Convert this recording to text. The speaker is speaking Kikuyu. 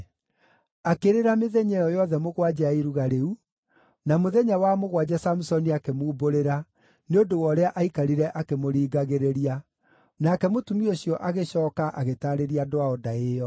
Akĩrĩra mĩthenya ĩyo yothe mũgwanja ya iruga rĩu, na mũthenya wa mũgwanja Samusoni akĩmumbũrĩra, nĩ ũndũ wa ũrĩa aikarire akĩmũringagĩrĩria. Nake mũtumia ũcio agĩcooka agĩtaarĩria andũ ao ndaĩ ĩyo.